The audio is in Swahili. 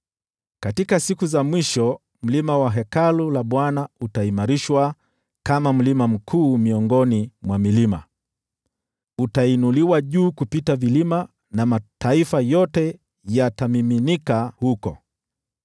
Katika siku za mwisho mlima wa Hekalu la Bwana utaimarishwa kama mlima mkuu miongoni mwa milima yote, utainuliwa juu ya vilima, na mataifa yote yatamiminika huko.